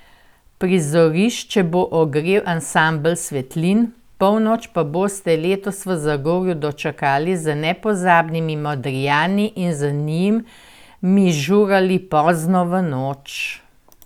Prizorišče bo ogrel Ansambel Svetlin, polnoč pa boste letos v Zagorju dočakali z nepozabnimi Modrijani in z njimi zažurali pozno v noč!